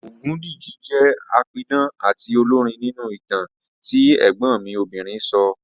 Ògúndìji jẹ́ apidán àti olórin nínú ìtàn tí ẹ̀gbọ́n mi obìnrin sọ